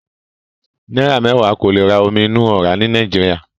Náírà mẹ́wàá ò lè ra omi inú ọ̀rá ní Nàìjíríà.